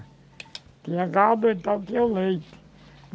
Tinha gado, então tinha leite.